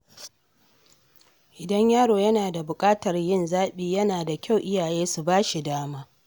Idan yaro yana da buƙatar yin zaɓi, yana da kyau iyaye su ba shi dama.